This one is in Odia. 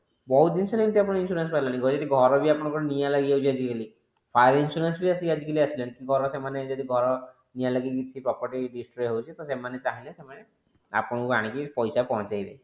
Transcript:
ବହୁତ ଜିନିଷ ରେ insurance ବାହାରିଲାଣି ଯଦି ଘର ବି ଆପଣଙ୍କର ନିଆଁ ଲାଗି ଯାଉଛି ଆଜି କାଲି car insurance ବି ଆଜି କାଲି ଆସିଲାଣି କି ଘର ସେମାନେ ଘର ନିଆଁ ଲାଗିକି property destroy ହୋଉଛି ତ ସେମାନେ ଚାହିଁଲେ ସେମାନେ ଆପଣଙ୍କୁ ଆଣିକି ପଇସା ପହଞ୍ଚାଇବେ